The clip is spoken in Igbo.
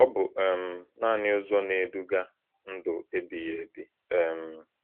Ọ bụ um naanị ụzọ na-eduga ndụ ebighị ebi. um